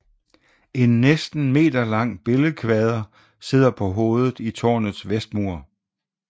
En næsten meterlang billedkvader sidder på hovedet i tårnets vestmur